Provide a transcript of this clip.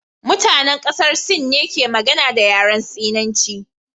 Mutanen kasar Sin ne ke magana da yaren Sinanci